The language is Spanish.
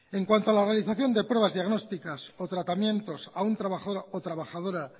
en cuanto a la organización de pruebas diagnósticas o tratamientos a un trabajador o trabajadora